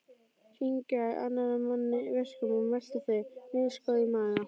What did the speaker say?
Kyngja annarra manna verkum og melta þau, misgóð í maga.